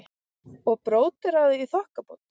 Og bróderað í þokkabót.